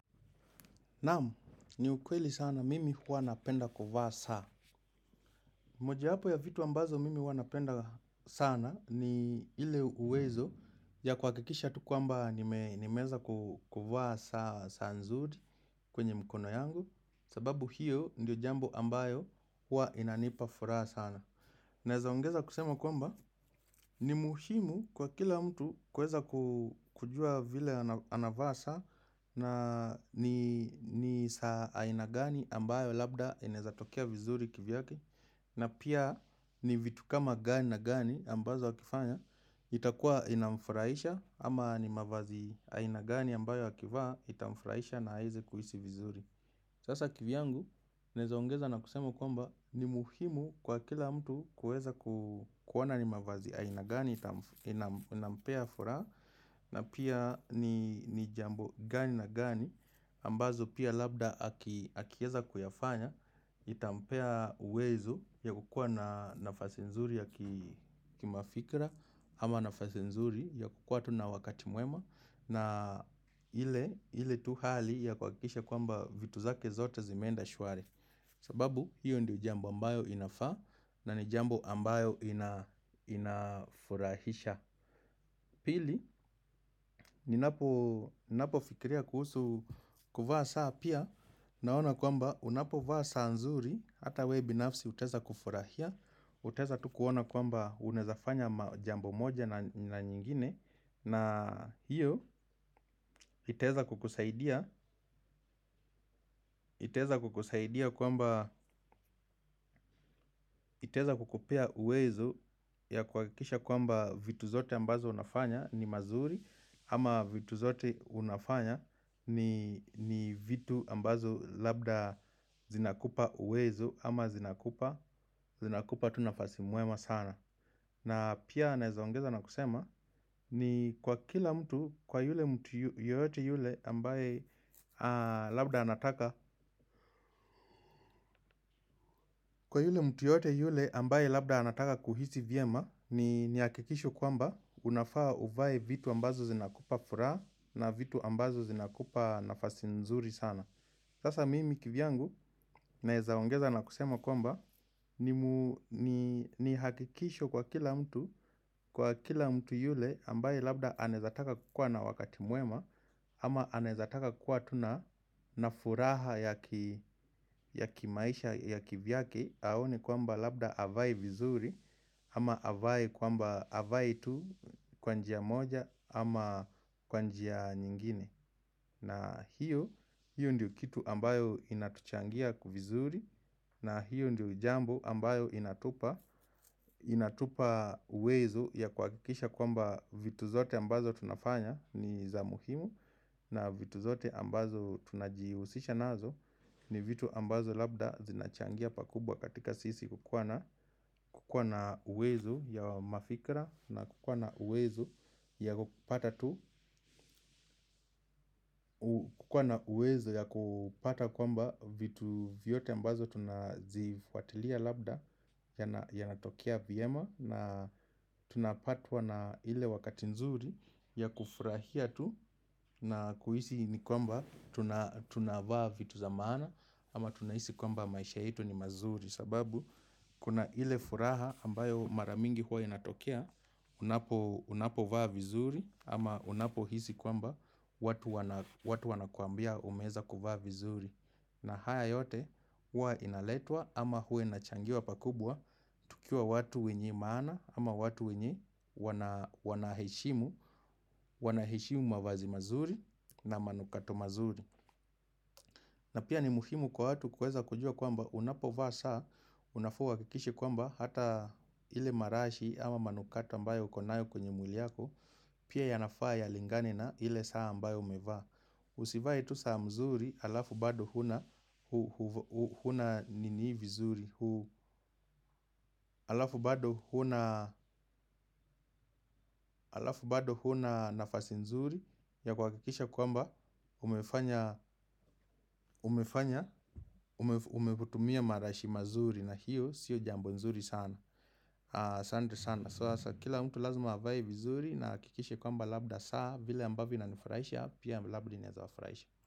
Naamu, ni ukweli sana mimi huwa napenda kuvaa saa. Moja hapo ya vitu ambazo mimi huwa napenda sana ni ile uwezo ya kwa kikisha tukwamba nimeza kuvaa saa nzuri kwenye mkono yangu. Sababu hiyo ndio jambo ambayo huwa inanipa furaa sana. Nezaongeza kusema kwamba ni muhimu kwa kila mtu kuweza kujua vile anavaa saa na ni saa aina gani ambayo labda inezatokia vizuri kivyake. Na pia ni vitu kama gani na gani ambazo wakifanya itakua inamfuraisha ama ni mavazi aina gani ambayo wakivaa itamfuraisha na aeze kuhisi vizuri. Sasa kivyangu, nezaongeza na kusemo kwamba ni muhimu kwa kila mtu kuweza kuona ni mavazi. Ya aina gani itampea furaha na pia ni jambo gani na gani ambazo pia labda akieza kuyafanya. Itampea uwezo ya kukua na nafasi nzuri ya kimafikira ama nafasi nzuri ya kukua tu na wakati mwema. Na ile tu hali ya kuwakikisha kwamba vitu zake zote zimenda shwari. Sababu, hiyo ndi jambo ambayo inafa na ni jambo ambayo inafurahisha. Pili, ninapo fikiria kuhusu kuvaa saa pia naona kwamba, unapo vaa saa nzuri, ata we binafsi uteza kufurahia. Uteza tu kuona kwamba unezafanya jambo moja na nyingine. Na hiyo iteza kukusaidia kwamba iteza kukupea uwezo ya kuakikisha kwamba vitu zote ambazo unafanya ni mazuri. Ama vitu zote unafanya ni vitu ambazo labda zinakupa uwezo ama zinakupa tu nafasi mwema sana na pia neza ongezo nakusama ni kwa yule mtu yoyote yule ambaye kwa yule mtu yote yule ambaye labda anataka kuhisi viema ni hakikisho kwamba unafaa uvae vitu ambazo zinakupa furaha na vitu ambazo zinakupa nafasi nzuri sana. Sasa mimi kivyangu naezaongeza na kusema kwamba ni hakikishio kwa kila mtu ambaye anaeza taka kuwa na furaha ya ki ya kimaisha ya kivyake, haoni kwamba labda avae vizuri, ama avai kwamba avae tu kwanjia moja ama kwa njia nyingine. Na hiyo, hiyo ndiyo kitu ambayo inatuchangia kuvizuri na hiyo ndiyo jambo ambayo inatupa. Inatupa uwezo ya kuakikisha kwamba vitu zote ambazo tunafanya ni za muhimu. Na vitu zote ambazo tunajiusisha nazo ni vitu ambazo labda zinachangia pakubwa katika sisi kukwa na uwezo ya mafikra na kukwana uwezo ya kupata tu. Kukwana uwezo ya kupata kwamba vitu vyote mbazo tunazifuatilia labda yanatokea vyema na tunapatwa na ile wakati nzuri ya kufurahia tu. Na kuhisi ni kwamba tunavaa vitu za maana ama tunaisi kwamba maisha itu ni mazuri sababu kuna ile furaha ambayo maramingi huwa inatokea, unapo vaa vizuri ama unapo hisi kwamba watu wanakuambia umeza kuvaa vizuri. Na haya yote huwa inaletwa ama huwa inachangiwa pakubwa tukua watu wenye maana ama watu wenye wanaheshimu, wanahishimu mavazi mazuri na manukato mazuri. Na pia ni muhimu kwa hatu kuweza kujua kwamba unapovaa saa, unafa uwakikishi kwamba hata ile marashi ama manukata ambayo ukonayo kwenye mwili yako, pia yanafaa ya lingane na ile saa ambayo umevaa. Usivae tu saa mzuri alafu bado huna bado huna nafasi mzuri ya kuwakikisha kwamba umetumia marashio maziri sio jambo zuri sana.